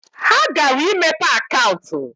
Ha gara imepe akaụntụ.